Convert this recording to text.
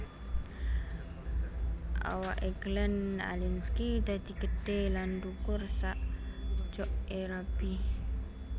Awak e Glenn Alinskie dadi gedhe lan dhukur sak jok e rabi